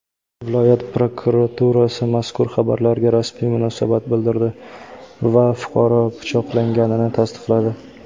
Viloyat prokuraturasi mazkur xabarlarga rasmiy munosabat bildirdi va fuqaro pichoqlanganini tasdiqladi.